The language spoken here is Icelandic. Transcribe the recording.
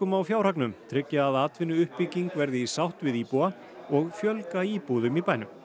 á fjárhagnum tryggja að atvinnuuppbygging verði í sátt við íbúa og fjölga íbúðum í bænum